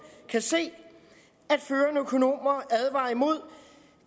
kan se at førende økonomer advarer imod